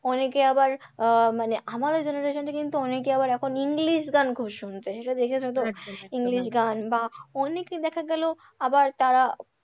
অনেকে আবার আহ মানে আমাদের generation এ কিন্তু অনেকে আবার এখন english গান খুব শুনছে সে সব দেখেছে তো? english গান বা অনেকই দেখা গেল আবার তারা,